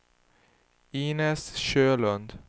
Inez Sjölund